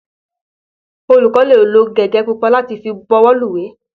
Olùkó lè lo gègé pupa láti fi bọwọ́lùwé.